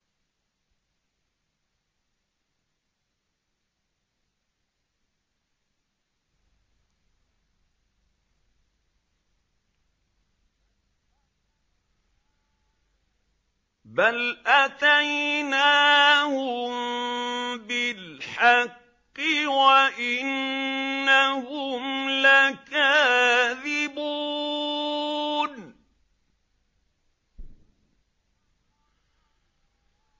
بَلْ أَتَيْنَاهُم بِالْحَقِّ وَإِنَّهُمْ لَكَاذِبُونَ